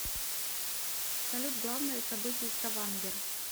салют главное событие ставангер